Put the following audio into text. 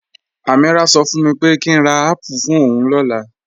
Ameerah ṣọ fún mi pé kí n rà apple fún ọún làànà